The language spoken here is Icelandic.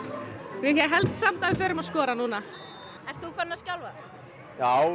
ég held samt að við förum að skora núna ert þú farinn að skjálfa já